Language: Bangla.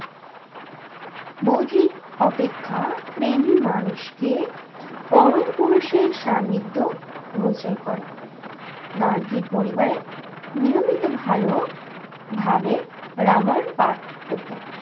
বোধি অপেক্ষা প্রেমি মানুষকে পরম পুরুষের সান্নিধ্য গোচর করে। গান্ধী পরিবারে নিয়মিত ভালো ভাবে রামায়ণ পাঠ হতো।